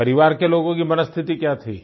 परिवार के लोगों की मनःस्थिति क्या थी